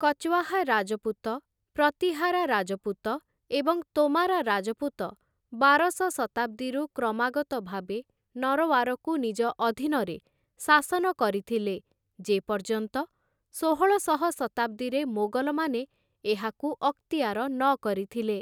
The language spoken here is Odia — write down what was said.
କଚୱାହା ରାଜପୁତ, ପ୍ରତୀହାରା ରାଜପୁତ, ଏବଂ ତୋମାରା ରାଜପୁତ ବାରଶ ଶତାବ୍ଦୀରୁ କ୍ରମାଗତ ଭାବେ ନରୱାରକୁ ନିଜ ଅଧୀନରେ ଶାସନ କରିଥିଲେ, ଯେ ପର୍ଯ୍ୟନ୍ତ ଷୋହଳଶହ ଶତାବ୍ଦୀରେ ମୋଗଲମାନେ ଏହାକୁ ଅକ୍ତିଆର ନକରିଥିଲେ ।